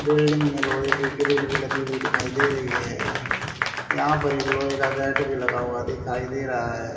Building में लोहे की ग्रील भी लगी हुई दिखाई दे रही है यहां पर एक लोहे का गेट भी लगा हुआ दिखाई दे रहा है।